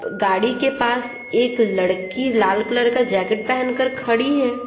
गाड़ी के पास एक लड़की लाल कलर का जैकेट पहनकर खड़ी है।